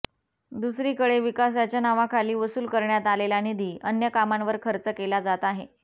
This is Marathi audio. दुसरीकडे विकासाच्या नावाखाली वसूल करण्यात आलेला निधी अन्य कामांवर खर्च केला जात आहे